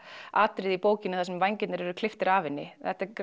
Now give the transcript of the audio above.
atriðinu úr bókinni þar sem vængirnir eru klipptir af henni